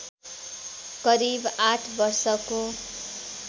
करिव आठ वर्षको